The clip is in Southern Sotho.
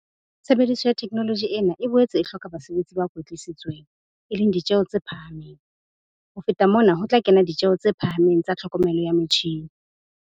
Tshebediso ya theknoloji ena e boetse e hloka basebetsi ba kwetlisitsweng, e leng ditjheho tse phahameng. Ho feta mona ho tla kena ditjeho tse phahameng tsa tlhokomelo ya metjhine.